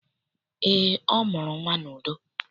Eé, ọ mụrụ nnwa n'udo.